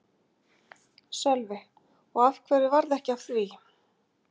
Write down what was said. Sölvi: Og af hverju varð ekki af því?